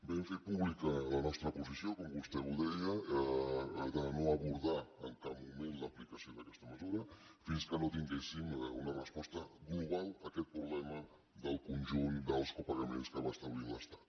vam fer pública la nostra posició com vostè deia de no abordar en cap moment l’aplicació d’aquesta mesura fins que no tinguéssim una resposta global a aquest problema del conjunt dels copagaments que va establint l’estat